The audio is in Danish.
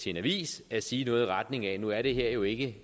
en avis at sige noget i retning af at nu er det her jo ikke